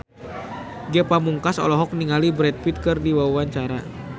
Ge Pamungkas olohok ningali Brad Pitt keur diwawancara